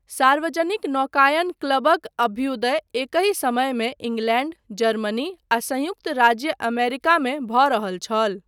सार्वजनिक नौकायन क्लबक अभ्युदय एकहि समयमे इंग्लैण्ड, जर्मनी आ संयुक्त राज्य अमेरिका मे भऽ रहल छल।